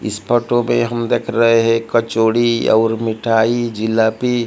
इस फोटो में हम देख रहे हैं कचोड़ी और मिठाई जलेबी--